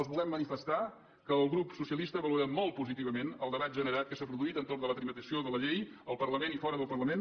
els volem manifestar que el grup socialista valorem molt positivament el debat generat que s’ha produït entorn de la tramitació de la llei al parlament i fora del parlament